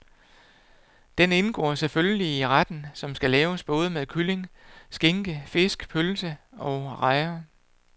Den indgår selvfølgelig i retten, som laves både med kylling, skinke, fisk, pølse og rejer.